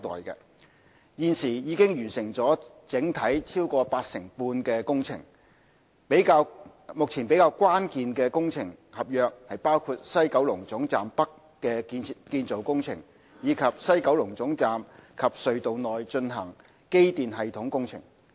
現已完成整體超過八成半的工程，目前比較關鍵的工程合約包括西九龍總站北的建造工程，以及西九龍總站及隧道內進行的機電系統工程。